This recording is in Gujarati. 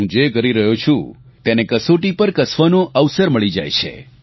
હું જે કરી રહ્યો છું તેને કસોટી પર કસવાનો અવસર મળી જાય છે